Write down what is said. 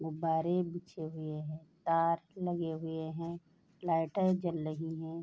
गुब्बारे बिछे हुए हैं तार लगे हुए हैं लाइटर जल लही हैं।